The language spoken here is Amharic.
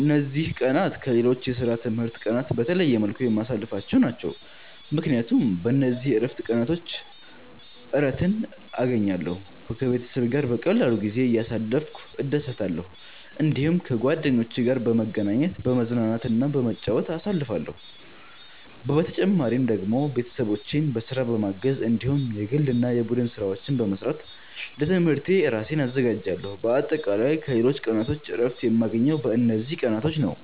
እነዚህ ቀናት ከሌሎች የስራና የትምህርት ቀናት በተለየ መልኩ የማሳልፍቸው ናቸው፣ ምክንያቱም በእነዚህ የእረፍት ቀናቾች እረትን እገኛለሁ። ከቤተሰቤ ጋር በቀላሉ ጊዜ እያሳለፍኩ እደሰታለሁ። እዲሁም ከጓደኞቼ ጋር በመገናኘት፤ በመዝናናትና በመጫወት አሳልፍለሁ። በተጨማሪ ደግሞ ቤተሰቦቼን በስራ በማገዝ እንዲሁም የግል እና የቡድን ስራዎች በመስራት ለትምህርቴ እራሴን አዘጋጃለሁ። በአጠቃላይ ከሌሎች ቀናቶች እረፍት የማገኘው በእነዚህ ቀናቶች ነዉ።